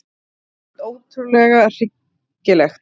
Hreint ótrúlega hryggilegt.